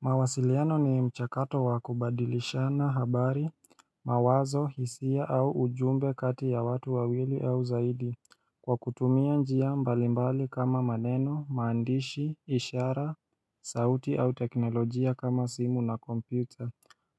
Mawasiliano ni mchakato wa kubadilishana habari, mawazo, hisia au ujumbe kati ya watu wawili au zaidi Kwa kutumia njia mbalimbali kama maneno, maandishi, ishara, sauti au teknolojia kama simu na kompyuta